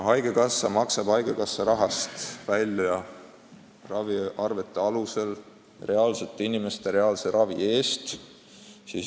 Haigekassa maksab raviarvete alusel konkreetsete inimeste reaalse ravi eest.